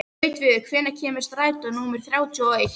Gautviður, hvenær kemur strætó númer þrjátíu og eitt?